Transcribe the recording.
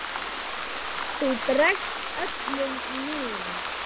Þú bregst öllum mín